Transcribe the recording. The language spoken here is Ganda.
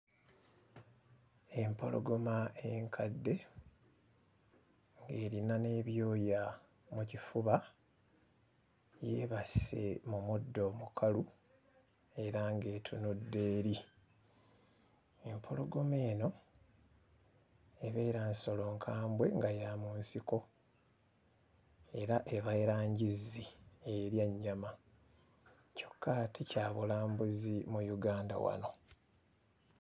Empologoma enkadde ng'erina n'ebyoya mu kifuba, yeebase mu muddo omukalu era ng'etunudde eri. Empologoma eno ebeera nsolo nkambwe nga ya mu nsiko era ebeera njizzi erya nnyama, kyokka ate kya bulambuzi mu Uganda wano.